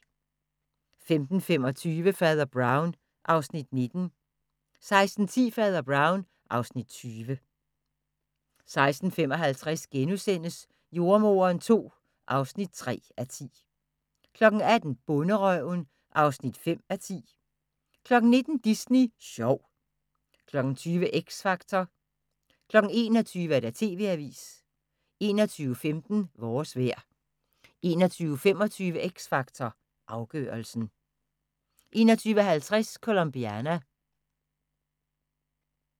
15:25: Fader Brown (Afs. 19) 16:10: Fader Brown (Afs. 20) 16:55: Jordemoderen II (3:10)* 18:00: Bonderøven (5:10) 19:00: Disney Sjov 20:00: X Factor 21:00: TV-avisen 21:15: Vores vejr 21:25: X Factor Afgørelsen 21:50: Colombiana